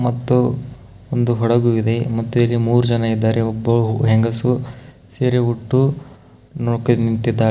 ಮತ್ತು ಒಂದು ಹಡಗು ಇದೆ ಮತ್ತು ಇಲ್ಲಿ ಮೂರ್ ಜನ ಇದಾರೆ ಒಬ್ಬ ಹೆಂಗಸು ಹಿರಿ ಹುಟ್ಟು ನೋಕೆ ನಿಂತಿದಾ --